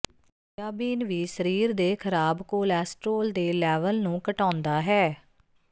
soybean ਵੀ ਸਰੀਰ ਦੇ ਖ਼ਰਾਬ ਕੋਲੈਸਟਰੋਲ ਦੇ ਲੈਵਲ ਨੂੰ ਘਟਾਉਂਦਾ ਹੈ